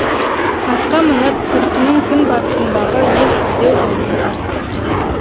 атқа мініп күртінің күн батысындағы елсіздеу жолмен тарттық